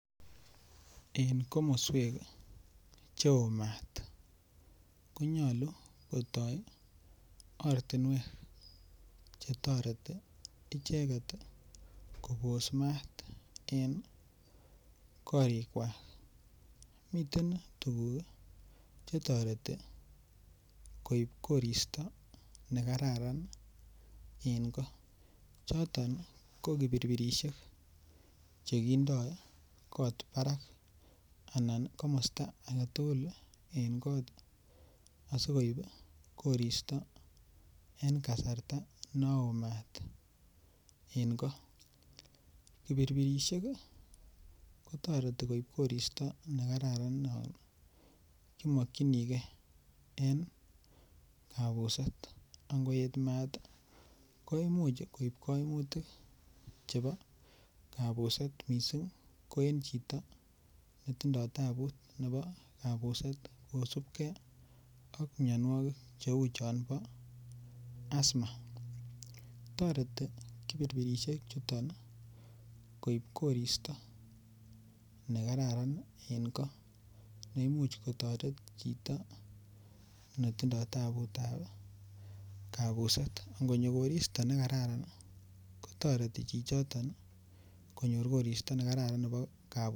En komoswek cheo mat konyolu kotoi ortinwek che toreti icheket kipos mat en korikwai. Miten tukuk chetireti koip koristo nekararan en koo. Choton ko kipirpirishek chekindoi koot barak. ana komista agetugul en koot asikoip koristo en kasarta no oo mat en ko. Kipiroirishek, kotoreti koip koristo nekararan yon imakchinigei en kapuset. Ngiet mat koimuch koip chepo kapuset misin ko en chito ne tindoi tabut nebo kapuset kosupkei ak mianwogik cheu chon bo astma. Toreti kioirpirishek chutok koip koristo ne kararan en koo. Neimuch kotoret chito netindoi tabutab kapuset. Ng'onyo koristo nekararan ko toreti chichoton konyor koristo nekararan nebo kapuset.